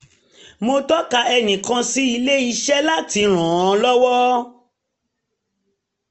mo tọka ẹnìkan sí ilé-iṣẹ́ láti ran un lọ́wọ́